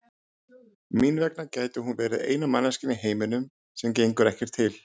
Mín vegna gæti hún verið eina manneskjan í heiminum sem gengur ekkert til.